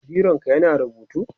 bironka ya na rubutu?